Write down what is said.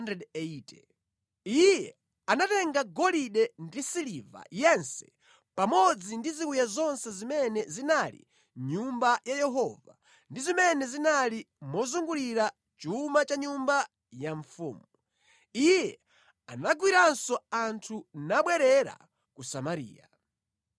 Iye anatenga golide ndi siliva yense pamodzi ndi ziwiya zonse zimene zinali mʼNyumba ya Yehova ndi zimene zinali mosungira chuma cha nyumba ya mfumu. Iye anagwiranso anthu nabwerera ku Samariya.